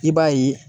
I b'a ye